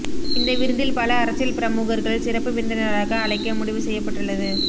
இந்த விருந்தில் பல அரசியல் பிரமுகர்கள் சிறப்பு விருந்தினராக அழைக்க முடிவு செய்யப்பட்டுள்ளது